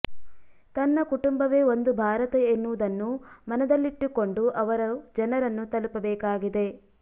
ತನ್ನ ಕುಟುಂಬವೇ ಒಂದು ಭಾರತ ಎನ್ನುವುದನ್ನು ಮನದಲ್ಲಿಟ್ಟುಕೊಂಡು ಅವರು ಜನರನ್ನು ತಲುಪಬೇಕಾಗಿದೆ